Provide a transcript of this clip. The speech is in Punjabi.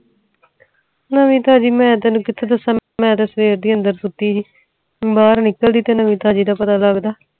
ਨਵੀਂ ਤਾਜ਼ੀ ਮੈਂ ਤੈਨੂੰ ਕਿਥੇ ਦੱਸਾਂ ਮੈਂ ਤਾ ਸਵੇੱਰ ਦੇ ਅੰਦਰ ਸੁੱਤੀ ਸੀ ਬਾਹਰ ਨਿਕਲਦੇ ਤੇ ਨਵੀਂ ਤਾਜ਼ੀ ਦਾ ਪਤਾ ਲਗਦਾ